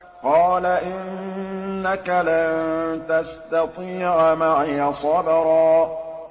قَالَ إِنَّكَ لَن تَسْتَطِيعَ مَعِيَ صَبْرًا